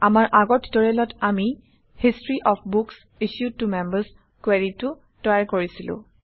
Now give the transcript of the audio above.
আমাৰ আগৰ টিউটৰিয়েলত আমি history of books issued to members কুৱেৰিটো তৈয়াৰ কৰিছিলো